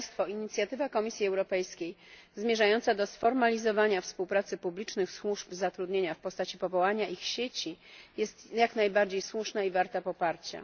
Inicjatywa Komisji Europejskiej zmierzająca do sformalizowania współpracy publicznych służb zatrudnienia w postaci powołania ich sieci jest jak najbardziej słuszna i warta poparcia.